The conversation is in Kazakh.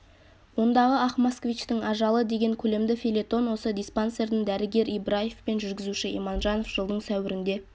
ондағы ақ москвичтің ажалы деген көлемді фельетон осы диспансердің дәрігері ибраев пен жүргізуші иманжанов жылдың сәуірінде